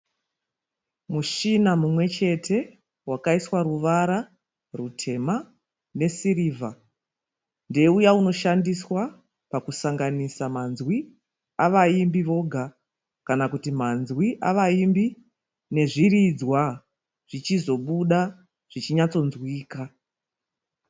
Mushina mumwechete wakaiswa ruvara rutema nesirivha ndeuya unoshandiswa pakusanganisa manzwi avaimbi voga kana kuti manzwi avaimbi nezviridzwa, zvichizobuda zvichinyatsonzwika.